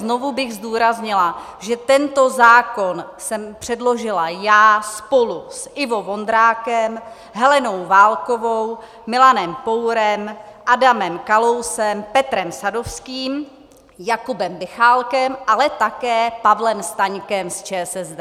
Znovu bych zdůraznila, že tento zákon jsem předložila já spolu s Ivo Vondrákem, Helenou Válkovou, Milanem Pourem, Adamem Kalousem, Petrem Sadovským, Jakubem Michálkem, ale také Pavlem Staňkem z ČSSD.